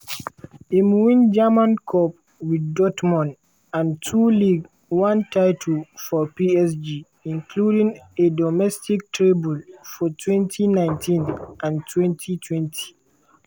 im win german cup wit dortmund and two ligue 1 titles for psg including a domestic treble for2019-20.